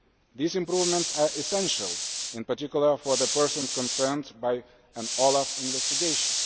These improvements are essential, in particular for the persons concerned by an OLAF investigation.